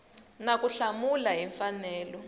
na ku hlamula hi mfanelo